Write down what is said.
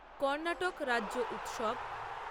কর্ণাটক রাজ্য উৎসব